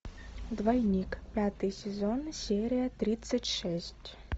двойник пятый сезон серия тридцать шесть